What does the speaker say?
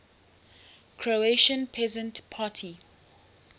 croatian peasant party